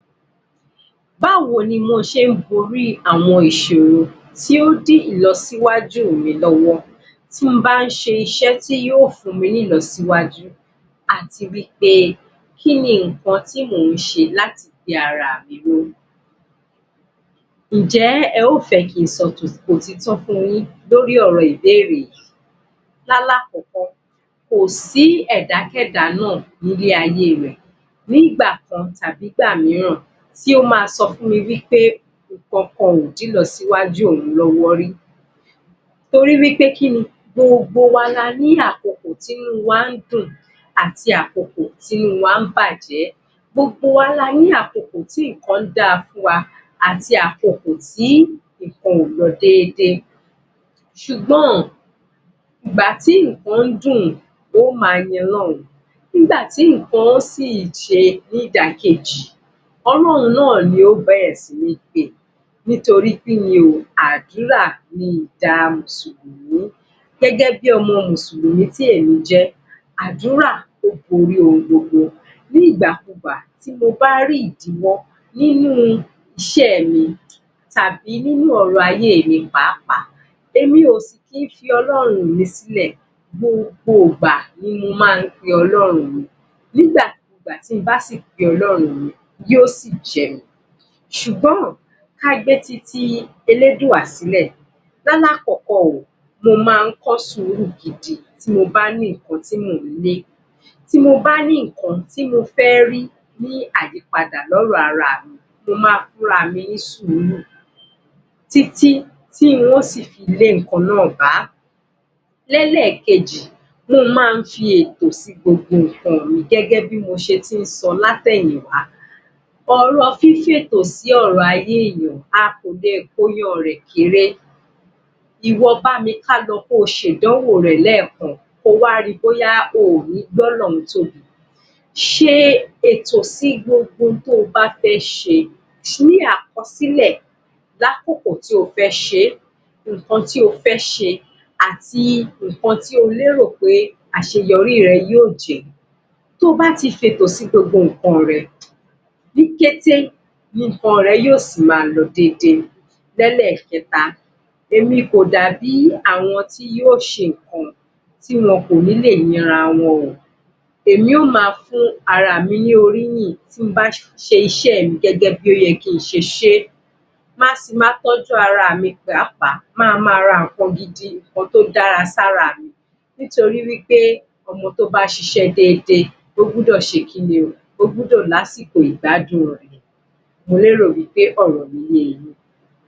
Báwo ni mo ṣe ń gorí àwọn ìṣòro tí ó dí ìlọsíwájú mi lọ́wọ́. Tí mo bá ṣe iṣẹ́ tí yóò fún mi ní ìlọsíwájú àti wí pé kí ni ǹnkan tí mò ń ṣe láti gbé ara mi ró? Ǹ jẹ́, ẹ ó fẹ́ kí n sọ òtítọ́ fun yín lórí ọ̀rọ̀ ìbéèrè yìí? L'álákọ̀ọ́kọ́, kò sí ẹ̀dákẹ̀dá náà ní lé ayé rẹ̀, ní ìgbà kan tàbí ìgbà mìíràn tí ó máa sọ fún mi wí pé ǹnkan kan ò dí ìlọsíwájú òun rí, torí wí pé kí ni? Gbogbo wa la ní àkókò tí inú wa ń dùn àti àkókò tí inú wa ń bàjẹ́, gbogbo wa la ní àkókò tí ǹnkan dáa fún wa àti àkókò tí ǹnkan ò lọ déédéé ṣùgbọ́n, ìgbà tí ǹnkan dùn o ó máa yin Ọlọ́run ìgbà tí ǹnkan ó si ṣe ní ìdàkejì, Ọlọ́run náà ni ó bẹ̀rẹ̀ si ní pè. Nítorí kí ni o? Àdúrà ni ìdáhùn sí ohun gbogbo, gẹ́gẹ́ bi ọmọ mùsùlùmí tí èmi jẹ́ àdúrà ó borí ohun gbogbo. Ní ìgbàkugbà, tí mo bá rí ìdíwọ́ nínú iṣẹ́ mi tàbí nínú ọ̀rọ̀ ayé mi páàpáà èmi ò sì kí ń fi Ọlọ́run mi sílẹ̀, gbogbo ìgbà ni mo máa ń pe Ọlọ́run mi. Nígbàkugbà tí mo bá si pe Ọlọ́run mi yóò sì jẹ́ mi. Ṣùgbọ́n, ká gbé titi Elédùà sílẹ̀ L'álákọ̀ọ́kọ́ o, mo máa ń kọ́ sùúrù ti bá ní ǹnkan tí mò ń lé tí mo bá ní ǹnkan tí mo fẹ́ rí ní àyípadà lọ́rọ̀ ara mi mo máa fún ara mi ní sùúrù títí tí n ó sì fi lé ǹnkan náà bá. Ní ẹlẹ̀kejì mo máa ń ṣe ètò sí gbogbo ǹnkan mi gẹ́gẹ́ bí mo ṣe tí ń sọ látẹ̀nyì wá ọ̀rọ̀ fí fi ètò sí ọ̀rọ̀ ayé èèyàn, a kò lè kóyanrì rẹ̀ kéré. ìwọ bá mi ká lọ, kí o ṣe ìdánwò rẹ lẹ́ẹ̀kan ko wá ri bóyá o ò ní gbọ́lọ́run tóbi. Ṣe ètò sí gbogbo ohun tí o bá fẹ́ ṣe ní àkọsílẹ̀ l'ákòkó tí o fẹ́ ṣe é ǹnkan tí o fẹ́ ṣe àti ǹnkan tí ó lérò pé àṣeyọrí rẹ yóò jẹ́ tó bá ti fi ètò sí gbogbo ǹnkan rẹ Ní kété ni ǹnkan rẹ yóò si máa lọ dédé. Ní ẹlẹ́kẹ́ta, èmi kò dàbí àwọn tí ó ṣe ǹnkan tí wọn kò ní lè yin ara wọn o èmi yóò máa fún ara mi ní oríyìn ti bá ṣe iṣẹ́ mi gẹ́gẹ́ bi ó yẹ kí ń ṣe ṣé máa si ma tọ́jú ara mi pàápàá, máa ma ra ǹnkan gidi ǹnkan tó dára sí ara mi nítorí wí pé ọmọ tó bá ṣiṣẹ́ déedée ó gbọ́dọ̀ ṣe kí ni o? Ó gbọ́dọ̀ lásìkò ìgbádùn rẹ̀. Mo lérò wí pé ọ̀rọ̀ mí ye yín.